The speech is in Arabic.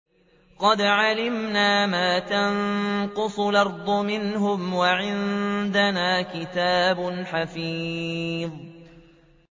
قَدْ عَلِمْنَا مَا تَنقُصُ الْأَرْضُ مِنْهُمْ ۖ وَعِندَنَا كِتَابٌ حَفِيظٌ